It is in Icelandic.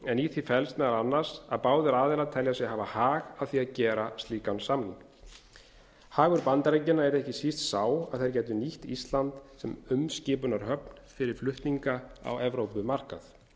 en í því felst meðal annars að báðir aðilar telja sig hafa hag af því að gera slíkan samning hagur bandaríkjamanna yrði ekki síst sá að þeir gætu nýtt ísland sem umskipunarhöfn fyrir flutninga á evrópumarkað